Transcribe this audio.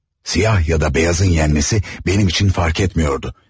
Siyah ya da beyazın yenməsi mənim üçün fərq etmirdi.